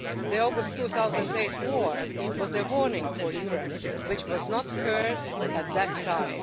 The August 2008 war was a warning for Europe which was not heard at the time.